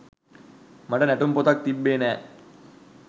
මට නැටුම් පොතක් තිබ්බේ නෑ